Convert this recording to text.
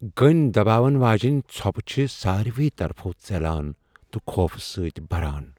گٕنۍ دباون واجینۍ ژھۄپہٕ چھِےٚ ساروٕے طرفو ژیلان ، تہ خوفہٕ سٕتۍ بران ۔